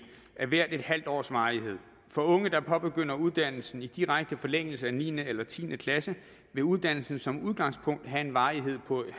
af hver en halv års varighed for unge der påbegynder uddannelsen i direkte forlængelse af niende eller tiende klasse vil uddannelsen som udgangspunkt have en varighed på en